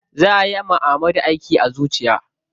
Za ayi wa Ahmadu aiki a zuciya.